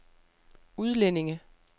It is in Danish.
udlændinge